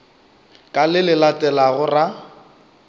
ka le le latelago ra